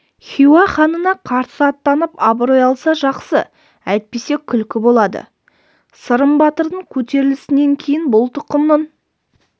хиуа ханына қарсы аттанып абырой алса жақсы әйтпесе күлкі болады сырым батырдың көтерілісінен кейін бұл тұқымның